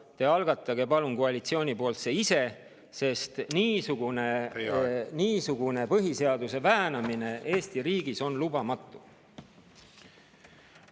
Algatage see, palun, koalitsiooni poolt ise, sest niisugune põhiseaduse väänamine Eesti riigis on lubamatu!